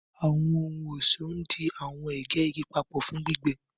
Àwọn ohun-ọṣọ ndí àwọn ègè igi papọ fún gbígbẹ.